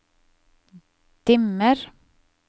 dimmer